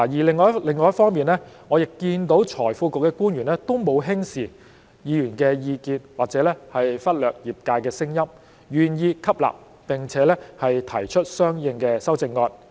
另一方面，我亦看到財庫局的官員也沒有輕視議員的意見，或者忽略業界的聲音，願意吸納並且提出相應的修正案。